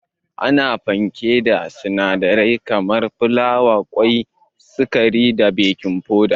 Ana fankek da sinadarai kaman filawa, kwai, sukari da baking foda.